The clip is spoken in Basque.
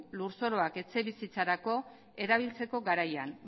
lur zoruak etxebizitzarako erabiltzeko garaian